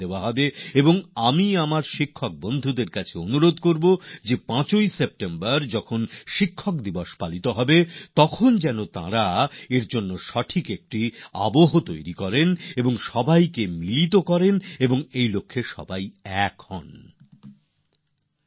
আর ৫ September তো শিক্ষক দিবস পালন করছি তাই আমি আমার শিক্ষক সাথীদের অবশ্যই অনুরোধ করবো যে তারজন্য একটা পরিবেশ তৈরি করে সবাইকে যুক্ত করুন আর সকলে মিলে তাতে লেগে পড়ুন